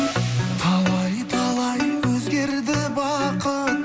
талай талай өзгерді бақыт